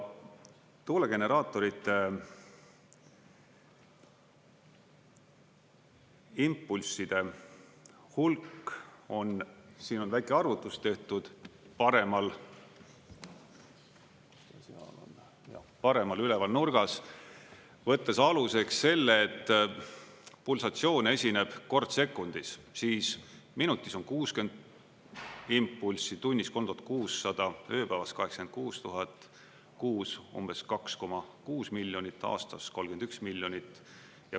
Tuulegeneraatorite impulsside hulk on, siin on väike arvutus tehtud paremal, paremal üleval nurgas, võttes aluseks selle, et pulsatsioon esineb kord sekundis, siis minutis on 60 impulssi, tunnis 3600, ööpäevas 86 000, kuus umbes 2,6 miljonit, aastas 31 miljonit.